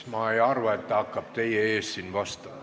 Ma ei arva, et ta hakkab teie ees siin vastama.